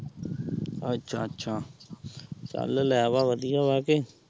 ਅੱਛਾ-ਅੱਛਾ ਚੱਲ ਲੈਅ ਲੈ ਵਧੀਆ ਵਾ ਕੇ।